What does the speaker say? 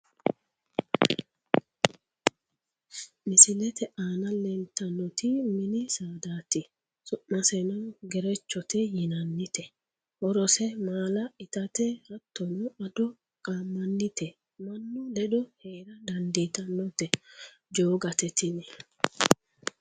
Misilete aana leelittanoti mini saadati su'maseno gerechote yinannite horose maala ittate hattono ado qamanite mannu ledo heera dandiittanote jogate tini